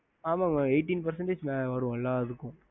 ஹம்